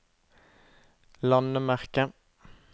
landemerke